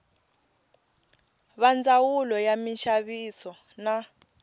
va ndzawulo ya minxaviso na